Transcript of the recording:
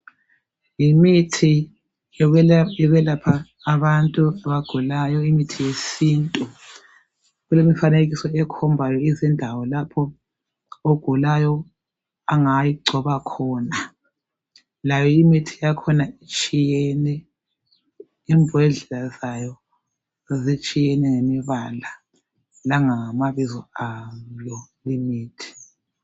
Yimithi yokwelapha abantu abagulayo, imithi yesintu. Kulemifanekiso ekhombayo izindawo lapho ogulayo angayigcoba khona. Layo imithi yakhona itshiyene, imbodlela zayo zitshiyene ngemibala langamabizo ayo imithi.